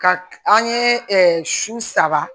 Ka an ye ɛɛ su saba